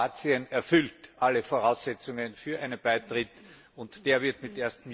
Kroatien erfüllt alle Voraussetzungen für einen Beitritt und der wird zum